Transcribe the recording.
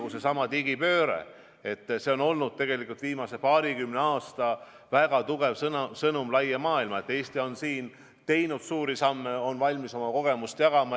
Kas või seesama digipööre – see on olnud viimase paarikümne aasta väga tugev sõnum laia maailma, et Eesti on selles vallas teinud märkimisväärseid samme ja et me oleme valmis oma kogemust jagama.